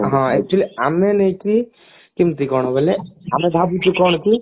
ହଁ actually ଆମେ ନୁହେଁ କି କେମତି କଣ ବୋଲେ ଆମେ ଭାବୁଛୁ କଣ କି